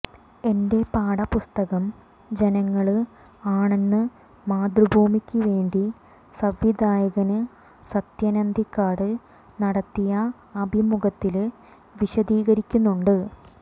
എന്റെ പാഠപുസ്തകം ജനങ്ങള് ആണെന്ന് മാതൃഭൂമിക്കു വേണ്ടി സംവിധായകന് സത്യന് അന്തിക്കാട് നടത്തിയ അഭിമുഖത്തില് വിശദീകരിക്കുന്നുണ്ട്